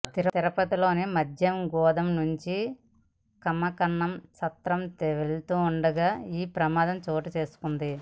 తిరుపతిలోని మద్యం గోదాం నుంచి కమకనమ్మ సత్రం తీసుకెళ్తుండగా ఈ ప్రమాదం చోటు చేసుకుంది